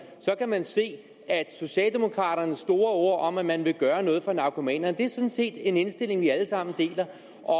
kan man se at socialdemokraternes store ord om at man vil gøre noget for narkomanerne sådan set er en indstilling vi alle sammen deler